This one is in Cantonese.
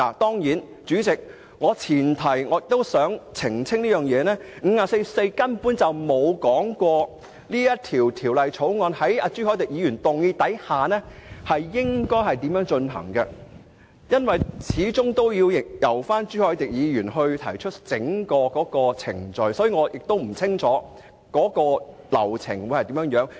當然，主席，我想澄清一點，根據《議事規則》第544條，議員根本不知道朱凱廸議員提出議案後，應如何處理本《條例草案》，因為始終應由朱凱廸議員提出整個程序，所以我並不了解整個流程。